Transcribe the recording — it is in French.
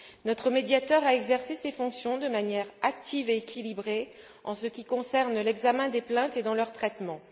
Notre médiateur a exercé ses fonctions de manière active et équilibrée en ce qui concerne l'examen des plaintes et leur traitement.